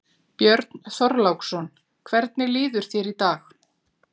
Björn Þorláksson: Hvernig líður þér í dag?